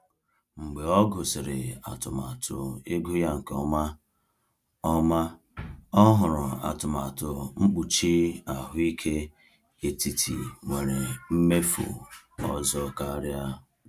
Mgbe ọ gụsịrị atụmatụ ego ya nke ọma, ọma, ọ họrọ atụmatụ mkpuchi ahụike etiti nwere mmefu ọzọ karịa.